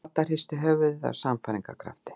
Dadda hristi höfuðið af sannfæringarkrafti.